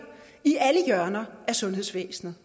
i alle hjørner af sundhedsvæsenet